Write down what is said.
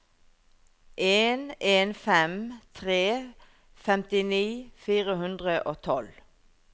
en en fem tre femtini fire hundre og tolv